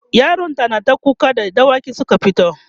yaron ta nata kuka da dawaki Suka fito